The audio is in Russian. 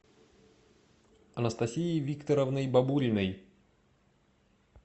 анастасией викторовной бабуриной